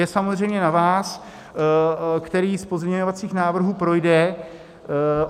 Je samozřejmě na vás, který z pozměňovacích návrhů projde.